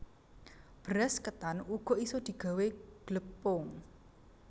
Beras ketan uga isa digawé glepung